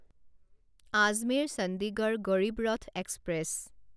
Ajmer Chandigarh Garib Rath express